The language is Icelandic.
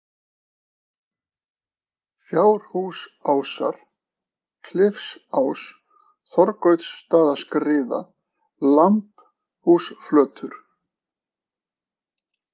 Fjárhúsásar, Klifsás, Þorgautsstaðaskriða, Lambhúsflötur